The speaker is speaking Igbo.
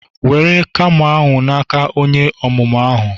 were camo ahu na-aka onye omumu ahu